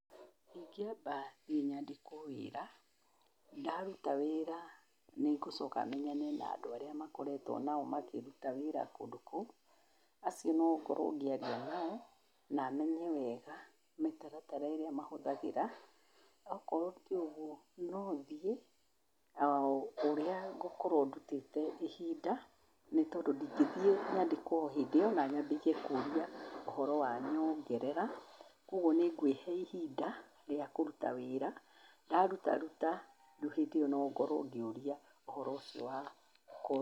Ingĩamba thiĩ nyambe nyandĩkwo wĩra ,ndaruta wĩra nĩngũcoka menyane na andũ arĩa makoretwo nao makĩruta wĩra kũndũ kũu. Acio nĩngũkorwo ngĩaria nao namenye wega mĩtaratara ĩrĩa makoretwo mahũthagĩra. Okorwo tiũgwo nothiĩ ũrwo ngũkorwo ndutĩte ihinda, nĩtondũ ndingĩthiĩ nyandĩkwo o hĩndĩ ĩo na nyambĩrĩrie kũria ũhoro wa nyongerera, kwogwo nĩngwĩhe ihinda rĩa kũruta wĩra, ndarutaruta, rĩu hĩndĩ ĩo nongorwo ngĩoria ũhoro ũcio wa kũ